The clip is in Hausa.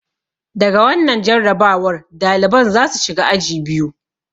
Da ga wannan jarrabawar, daliban za su shiga aji biyu.